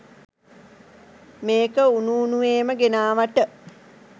මේක උණු උණුවේම ගෙනාවට.